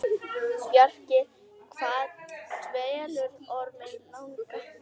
Bjarki, hvað dvelur Orminn langa?